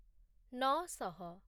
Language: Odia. ନଅ ଶହ